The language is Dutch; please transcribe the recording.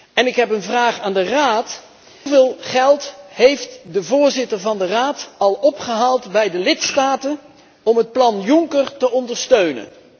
En ik heb een vraag aan de Raad hoeveel geld heeft de voorzitter van de Raad al opgehaald bij de lidstaten om het plan Juncker te ondersteunen?